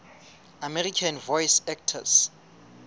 american voice actors